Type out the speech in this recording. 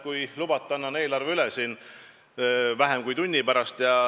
Kui lubate, ma annan eelarve siin üle vähem kui tunni aja pärast.